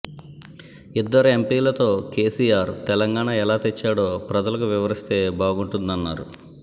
ఇద్దరు ఎంపిలతో కెసిఆర్ తెలంగాణ ఎలా తెచ్చాడో ప్రజలకు వివరిస్తే బాగుంటుందన్నారు